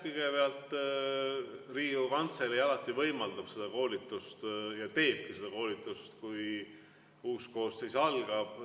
Kõigepealt, Riigikogu Kantselei alati võimaldab seda koolitust ja teebki seda koolitust, kui uus koosseis alustab.